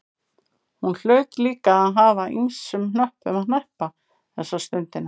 Hún hlaut líka að hafa ýmsum hnöppum að hneppa þessa stundina.